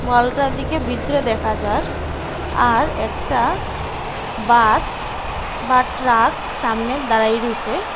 হলটার দিকে ভিতরে দেখা যার আর একটা বাস বা ট্রাক সামনে দাঁড়ায় রইসে।